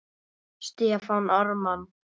Stefán Ármann.